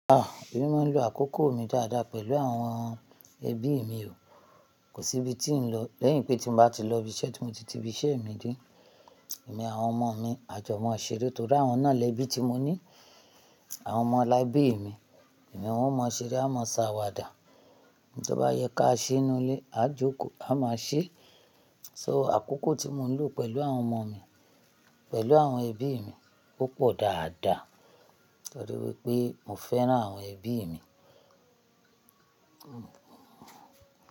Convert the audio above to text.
Ah! Èmi máa ń lo àkókò mi dáadáa pẹ̀lú àwọn ẹbí mi o. Kò sí ibi tí ń lọ. Lẹ́yìn pé tí n bá ti lọ ibi iṣẹ́ tí mo ti ti ibi iṣẹ́ mi dé, èmi àwọn ọmọ mi, a jọ máa ṣeré torí àwọn náà lẹbí tí mo ní. Àwọn ọmọ láìbí mi, èmi wọ́n mọ ṣeré, a máa ń sá wà dà. To bá yẹ ká ṣe inú ilé, a jókòó a máa ṣe. So àkókò tí mo ń lò pẹ̀lú àwọn ọmọ mi, pẹ̀lú àwọn ẹbí mi, ó pọ̀ dáadáa torí wípé mo fẹ́ràn àwọn ẹbí mi.